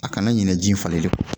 A kana ɲinɛ ji in falelen